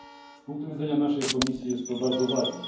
Z punktu widzenia naszej komisji jest to bardzo ważne.